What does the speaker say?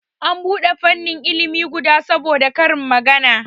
An bude fannin ilimi guda saboda karin magana